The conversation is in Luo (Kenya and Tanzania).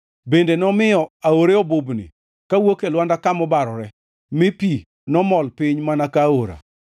bende nomiyo aore obubni kawuok e lwanda kama obarore mi pi nomol piny mana ka aora.